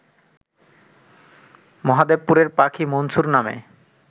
মহাদেবপুরের পাখি মনসুর নামে